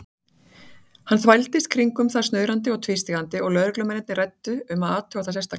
Hann þvældist kringum það snuðrandi og tvístígandi og lögreglumennirnir ræddu um að athuga það sérstaklega.